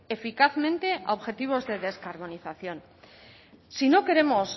eficazmente a objetivos de descarbonización si no queremos